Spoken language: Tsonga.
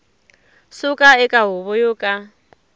suka eka huvo yo ka